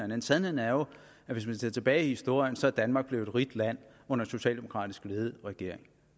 men sandheden er jo at hvis man ser tilbage i historien er danmark blevet et rigt land under en socialdemokratisk ledet regering